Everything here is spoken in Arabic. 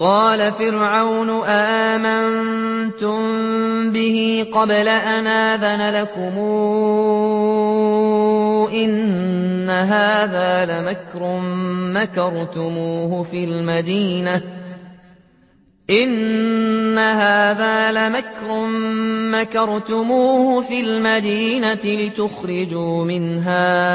قَالَ فِرْعَوْنُ آمَنتُم بِهِ قَبْلَ أَنْ آذَنَ لَكُمْ ۖ إِنَّ هَٰذَا لَمَكْرٌ مَّكَرْتُمُوهُ فِي الْمَدِينَةِ لِتُخْرِجُوا مِنْهَا